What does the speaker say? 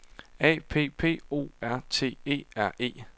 A P P O R T E R E